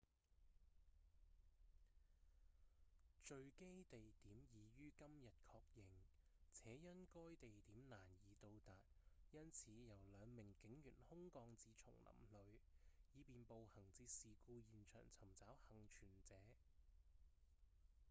墜機地點已於今日確認且因該地點難以到達因此由兩名警員空降至叢林裡以便步行至事故現場尋找倖存者